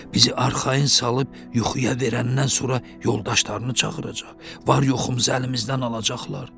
Bizi arxayın salıb yuxuya verəndən sonra yoldaşlarını çağıracaq, var-yoxumuz əlimizdən alacaqlar.